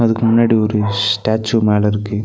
இதுக்கு முன்னாடி ஒரு ஸ்டேச்சு மேல இருக்கு.